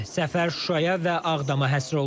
Səfər Şuşaya və Ağdama həsr olunub.